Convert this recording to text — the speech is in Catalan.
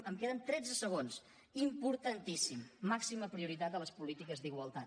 em queden tretze segons importantíssim màxima prioritat a les polítiques d’igualtat